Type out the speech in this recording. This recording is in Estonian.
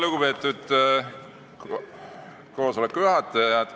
Lugupeetud koosoleku juhataja!